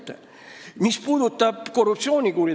Ma ei kujuta ette.